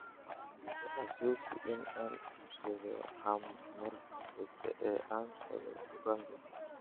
i xasuusi in aan iibsado ham marka xigta ee aan tago dukaanka